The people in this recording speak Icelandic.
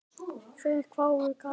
Þeir hváðu: Gati?